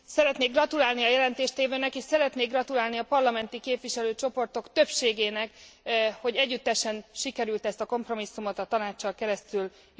Szeretnék gratulálni a jelentéstévőnek, és szeretnék gratulálni a parlamenti képviselőcsoportok többségének, hogy együttesen sikerült ezt a kompromisszumot a Tanáccsal keresztülvinni.